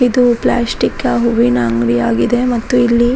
ಇದು ಪ್ಲಾಸ್ಟಿಕ್ ಹೂವಿನ ಅಂಗ್ಡಿ ಆಗಿದೆ ಮತ್ತು ಇಲ್ಲಿ --